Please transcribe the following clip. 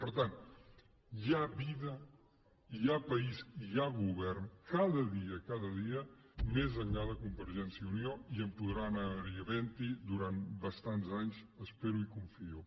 per tant hi ha vida hi ha país i hi ha govern cada dia cada dia més enllà de convergència i unió i en podrà seguir havent durant bastants anys espero i confio